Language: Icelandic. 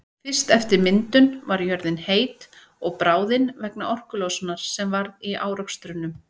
Fyrst eftir myndun var jörðin heit og bráðin vegna orkulosunar sem varð í árekstrunum.